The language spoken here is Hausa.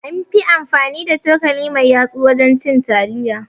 An fi amfani da cokali mai yatsa wajen cin taliya